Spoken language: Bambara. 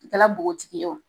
I kɛla bogotigi ye o